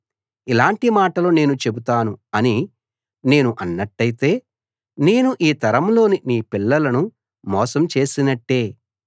ఇలాటి మాటలు నేను చెబుతాను అని నేను అన్నట్టయితే నేను ఈ తరంలోని నీ పిల్లలను మోసం చేసినట్టే